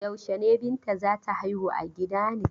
Yaushe ne Binta za ta haihu a gida ne?